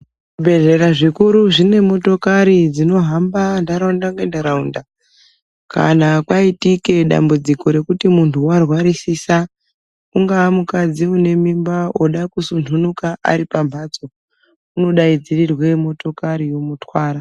Zvibhedhlera zvikuru zvine motokari dzinohamba ndaraunda ngendaraunda kana kwaitike dambudziko rekuti muntu warwarisisa ungaa mukadzi une mimba oda kusunhunuka ari pamhatso unodaidzirirwe motokari yomutwara.